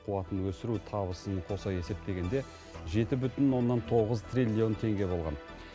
қуатын өсіру табысын қоса есептегенде жеті бүтін оннан тоғыз триллион теңге болған